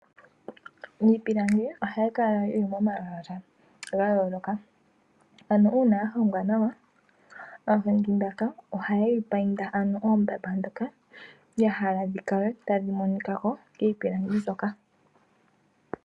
Iipilangi ohayi kala yili momalwaala gayooloka, ano uuna yahongwa nawa, aahongi mbaka ohayeyi payinda ano oombamba dhoka yahala dhikale tadhimonikako kiipilangi mbyoka.